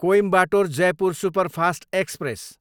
Coimbatore, Jaipur superfast express